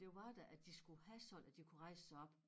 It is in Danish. Det var da at de skulle have sådan at de kunne rejse sig op